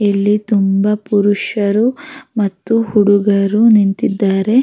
ಇಲ್ಲಿ ತುಂಬ ಪುರುಷರು ಮತ್ತು ಹುಡುಗರು ನಿಂತಿದ್ದಾರೆ --